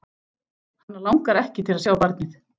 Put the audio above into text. Hana langar ekki til að sjá barnið.